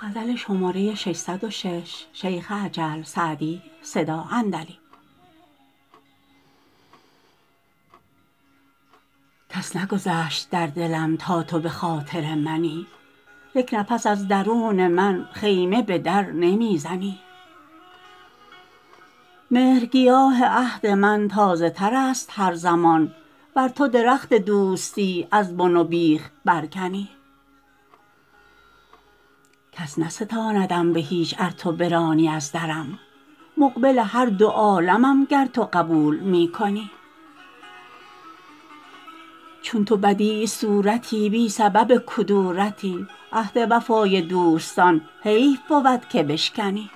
کس نگذشت در دلم تا تو به خاطر منی یک نفس از درون من خیمه به در نمی زنی مهرگیاه عهد من تازه تر است هر زمان ور تو درخت دوستی از بن و بیخ برکنی کس نستاندم به هیچ ار تو برانی از درم مقبل هر دو عالمم گر تو قبول می کنی چون تو بدیع صورتی بی سبب کدورتی عهد وفای دوستان حیف بود که بشکنی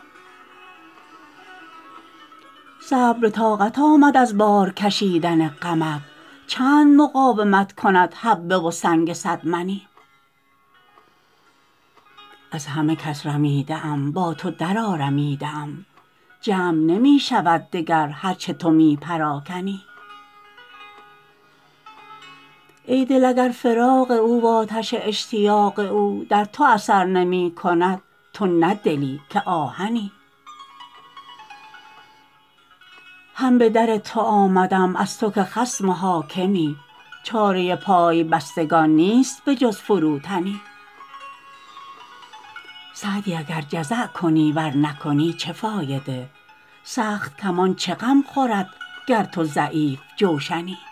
صبر به طاقت آمد از بار کشیدن غمت چند مقاومت کند حبه و سنگ صد منی از همه کس رمیده ام با تو درآرمیده ام جمع نمی شود دگر هر چه تو می پراکنی ای دل اگر فراق او وآتش اشتیاق او در تو اثر نمی کند تو نه دلی که آهنی هم به در تو آمدم از تو که خصم و حاکمی چاره پای بستگان نیست به جز فروتنی سعدی اگر جزع کنی ور نکنی چه فایده سخت کمان چه غم خورد گر تو ضعیف جوشنی